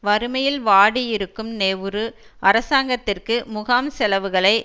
வறுமையில் வாடியிருக்கும் நெளரு அரசாங்கத்திற்கு முகாம் செலவுகளை